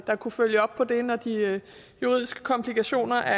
der kunne følge op på det når de juridiske komplikationer er